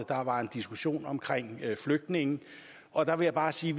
der var en diskussion om flygtninge og der vil jeg bare sige